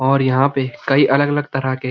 और यहाँ पे कई अलग-अलग तरह के --